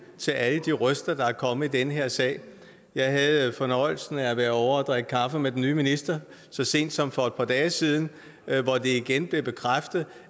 til alle de røster der er kommet i den her sag jeg havde fornøjelsen af at være ovre og drikke kaffe med den nye minister så sent som for et par dage siden hvor det igen blev bekræftet